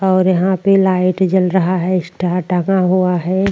और यहाँ पे लाइट जल रहा है स्टार टंगा हुआ है।